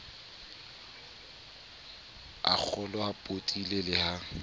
a kgolwao potile le ha